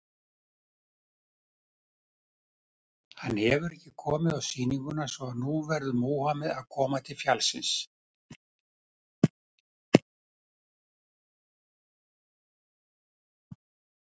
Hann hefur ekki komið á sýninguna, svo að nú verður Múhameð að koma til fjallsins.